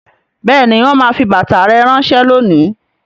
Bẹẹni, wọn máa fi bàtà rẹ ránsẹ́ lónìí